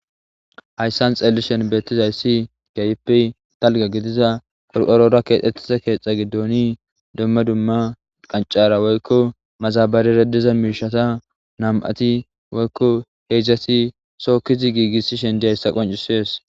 Hassan xeellishin beettizaysi keehippe gidiza qorqora keexettiza keetha giddon dumma dumma qachora madabarara dizan gishata nam7ati woyko heedzdzati tookkishe dizaysa qoncisees.